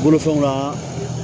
Bolofɛnw na